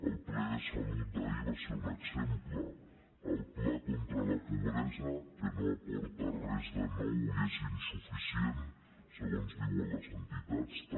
el ple de salut d’ahir en va ser un exemple el pla contra la pobresa que no aporta res de nou i és insuficient segons diuen les entitats també